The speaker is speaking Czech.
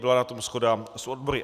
Byla na tom shoda s odbory.